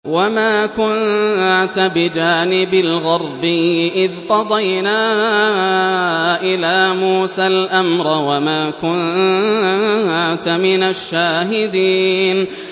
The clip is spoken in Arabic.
وَمَا كُنتَ بِجَانِبِ الْغَرْبِيِّ إِذْ قَضَيْنَا إِلَىٰ مُوسَى الْأَمْرَ وَمَا كُنتَ مِنَ الشَّاهِدِينَ